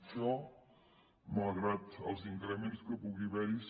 això malgrat els increments que pugui haverhi